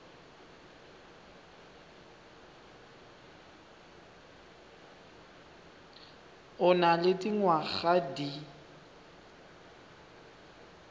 o nang le dingwaga di